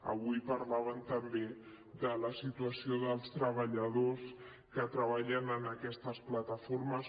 avui parlaven també de la situació dels treballadors que treballen en aquestes plataformes